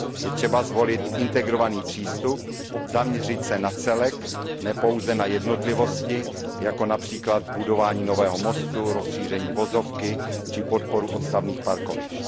Je třeba zvolit integrovaný přístup, zaměřit se na celek, ne pouze na jednotlivosti, jako například budování nového mostu, rozšíření vozovky či podporu odstavných parkovišť.